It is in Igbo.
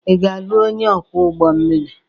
Ị ga-alụ onye ọkwọ ụgbọ mmiri?